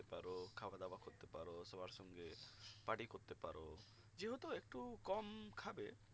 party করতে পারো যে হেতু একটু কম খাবে